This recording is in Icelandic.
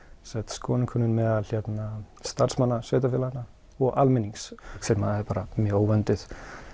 skoðannakönnun meðal starfsmanna sveitarfélaganna og almennings sem er mjög óvönduð